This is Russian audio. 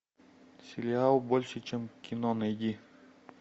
сериал больше чем кино найди